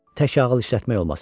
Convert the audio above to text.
Tək ağıl işlətmək olmasın.